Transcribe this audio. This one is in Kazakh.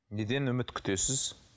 неден үміт күтесіз